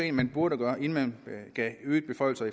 at man burde gøre inden man gav øgede beføjelser